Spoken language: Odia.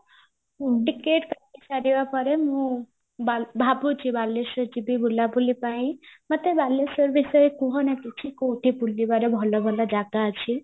ଟିକେଟ କାଟିସାରିବା ପରେ ମୁଁ ବାଲେ ଭାବୁଚି ବାଲେଶ୍ଵର ଯିବି ବୁଲା ବୁଲି ପାଇଁ ମତେ ବାଲେଶ୍ଵର ବିଷୟରେ କୁହନା କିଛି କୋଉଠି ବୁଲିବାର ଭଲ ଭଲ ଜାଗା ଅଛି